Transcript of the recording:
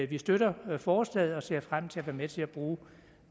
vi støtter forslaget og ser frem til at være med til at bruge